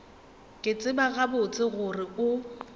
ke tseba gabotse gore o